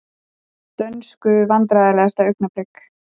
Dönsku Vandræðalegasta augnablik?